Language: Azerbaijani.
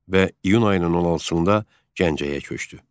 Və iyun ayının 16-da Gəncəyə köçdü.